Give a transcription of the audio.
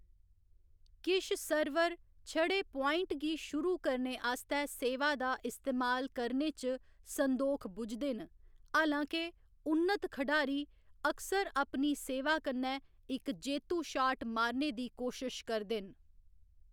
किश सर्वर छड़े पाइंट गी शुरू करने आस्तै सेवा दा इस्तेमाल करने च संदोख बुझदे न, हालां के, उन्नत खढारी अक्सर अपनी सेवा कन्नै इक जेत्तू शाट मारने दी कोशश करदे न।